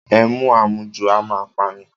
Ẹmu àmujù a máa pa ni.